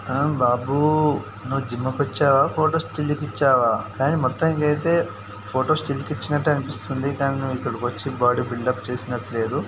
ఏ బాబు నవ జిమ్ కి వచ్చవ ఫోటోస్ స్టిల్ కి వచ్చవ కానీ మొత్తనికి అయితే ఫోటోస్ స్టిల్ కి ఇచ్చినట్టే అనిపిస్తుంది కానీ నవ ఇక్కడికి వచ్చి బోడి బిల్డ్ అప్ చేసినట్టు లేధు.